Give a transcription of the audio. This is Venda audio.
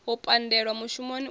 u pandelwa mushumoni u ya